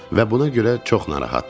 Və buna görə çox narahatdır.